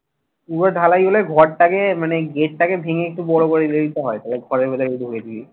পুরো ঢালাই হলে ঘরটাকে মানে gate টাকে ভেঙ্গে একটু বড় করে দিলেই তো হয় তাহলে ঘরের ভেতর তো ঢুকায়ে দিবি